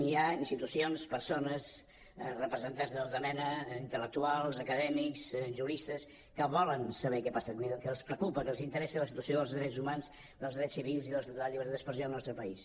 hi ha institucions persones representants de tota mena intel·lectuals acadèmics juristes que volen saber què passa que els preocupa que els interessa la situació dels drets humans dels drets civils i la llibertat d’expressió en el nostre país